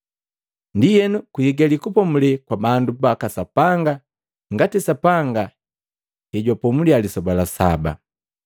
Ndienu kuigali kupomule kwa bandu baka Sapanga ngati Sapanga hejwapomulia lisoba la saba.